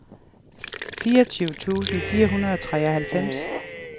fireogtyve tusind fire hundrede og treoghalvfems